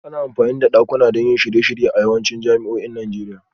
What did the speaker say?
Ana amfani da dakuna don shirye-shirye a yawancin jami'o'in Najeriya